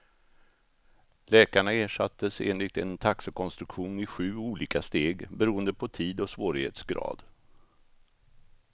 Läkarna ersattes enligt en taxekonstruktion i sju olika steg, beroende på tid och svårighetsgrad.